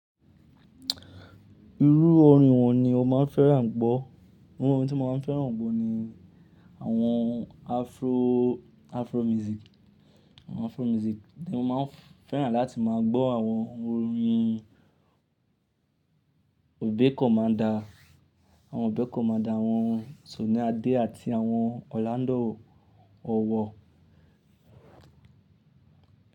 Irú orin wọ́n ni o máa n fẹ́ràn gbọ́? Irú orin tí mo máa fẹ́ràn gbọ́ ni àwọn Afro, Afro music, àwọn Afro music ni mo máa n fẹ́ràn láti máa gbọ́ àwọn orin Obey Commanda, àwọn Obey Commanda, àwọn Sunny Adé àti àwọn Orlando Owo.